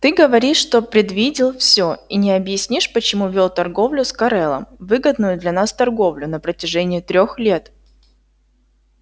ты говоришь что предвидел все и не объяснишь почему вёл торговлю с корелом выгодную для нас торговлю на протяжении трёх лет